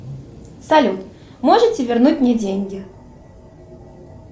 салют можете вернуть мне деньги